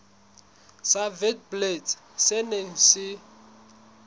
sa witblits se neng se